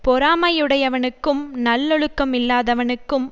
பொறாமையுடையவனுக்கும் நல்லொழுக்கமில்லாதவனுக்கும்